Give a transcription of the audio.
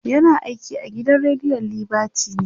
yana aiki a gidan rediyon liberty ne